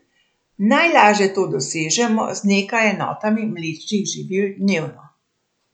Najlaže to dosežemo z nekaj enotami mlečnih živil dnevno.